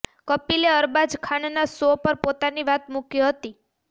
કપિલે અરબાઝ ખાનના શો પર પોતાની વાત મૂકી હતી